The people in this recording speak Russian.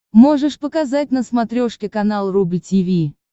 можешь показать на смотрешке канал рубль ти ви